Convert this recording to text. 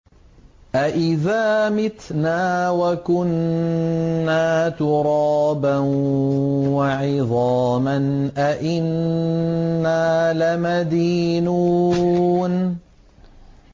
أَإِذَا مِتْنَا وَكُنَّا تُرَابًا وَعِظَامًا أَإِنَّا لَمَدِينُونَ